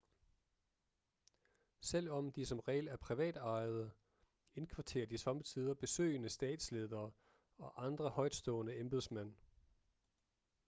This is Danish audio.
selvom de som regel er privatejede indkvarterer de sommetider besøgende statsledere og andre højtstående embedsmænd